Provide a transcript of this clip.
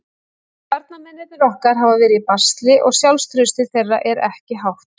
Varnarmennirnir okkar hafa verið í basli og sjálfstraustið þeirra er ekki hátt.